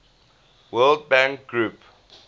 world bank group